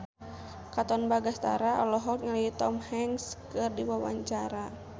Katon Bagaskara olohok ningali Tom Hanks keur diwawancara